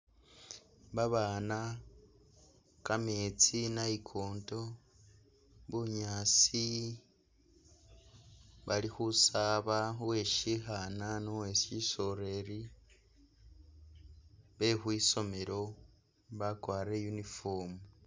Babaana, kametsi, inayikonto, bunyaasi, bali khusaaba, uwe syikhaana ni uwe syisoreli be khwisomelo, bakwarire uniform.